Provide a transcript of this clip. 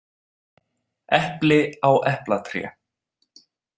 Epli á eplatré.